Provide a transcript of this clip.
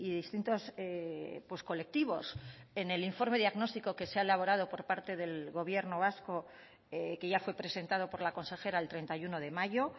distintos colectivos en el informe diagnóstico que se ha elaborado por parte del gobierno vasco que ya fue presentado por la consejera el treinta y uno de mayo